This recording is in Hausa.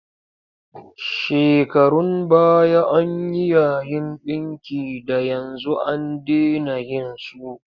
Shekarun baya an yi yayin ɗinki da yanzu an dena yin su.